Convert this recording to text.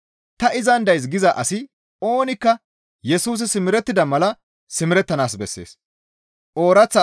Ta izan days giza asi oonikka Yesusi simerettida mala simerettanaas bessees.